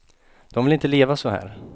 De vill inte leva så här.